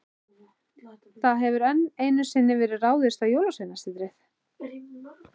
Það hefur enn einu sinni verið ráðist á Jólasveinasetrið.